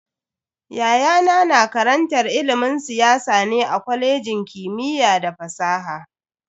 Yayana na karantar ilimin siyasa ne a kwalejin kimiyya da fasaha.